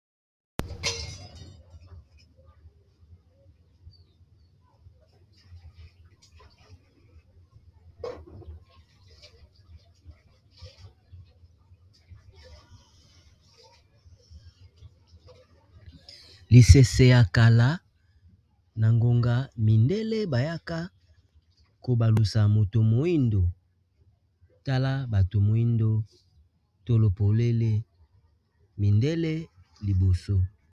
Lisese ya kala na ngonga mindele bayaka kobalusa moto moyindo tala bato moyindo tolo polele mindele liboso.